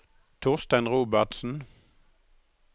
Torstein Robertsen